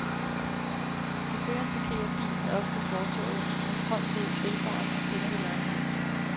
Chaufføren parkerer bilen oppe på fortorvet, med front mod grillbaren og tænder det lange lys.